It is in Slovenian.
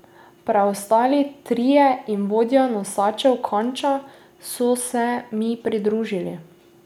Preostali trije in vodja nosačev Kanča so se mi pridružili.